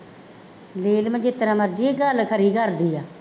ਨੀਲਮ ਜਿਸ ਤਰ੍ਹਾਂ ਮਰਜ਼ੀ ਆ ਗੱਲ ਖਰੀ ਕਰਦੀ ਆ